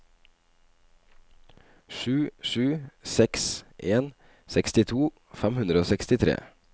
sju sju seks en sekstito fem hundre og sekstitre